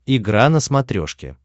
игра на смотрешке